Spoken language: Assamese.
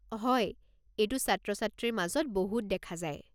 হয়, এইটো ছাত্ৰ-ছাত্ৰীৰ মাজত বহুত দেখা যায়।